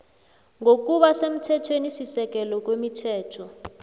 ngokuba semthethwenisisekelo kwemithetho